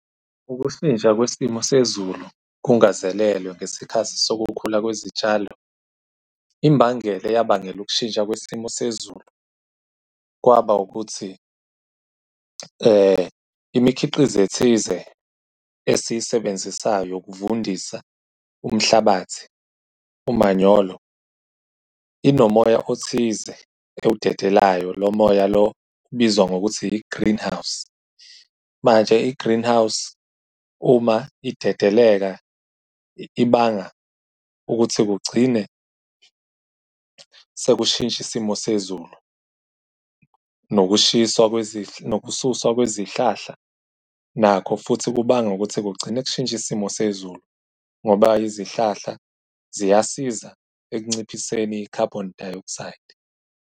Ukushintsha kwesimo sezulu kungazelelwe ngesikhathi sokukhula kwezitshalo, imbangela eyabangela ukushintsha isimo sezulu kwaba ukuthi imikhiqizo ethize esiyisebenzisayo yokuvundisa umhlabathi, umanyolo inomoya othize ewudedelayo. Lo moya lo ubizwa ngokuthi i-greenhouse, manje i-greenhouse uma idedeleka ibanga ukuthi kugcine sekushintsha isimo sezulu. Nokushiswa nokususwa kwezihlahla nakho futhi kubanga ukuthi kugcine kushintsha isimo sezulu ngoba izihlahla ziyasiza ekunciphiseni i-carbon dioxide.